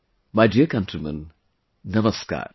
My dear countrymen, Namaskar